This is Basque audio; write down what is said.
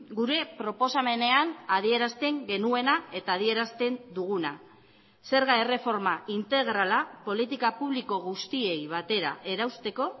gure proposamenean adierazten genuena eta adierazten duguna zerga erreforma integrala politika publiko guztiei batera erausteko